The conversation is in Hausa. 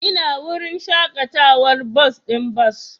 Ina wurin shakatawar bas ɗin bas